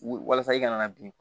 Wulu walasa i kana bin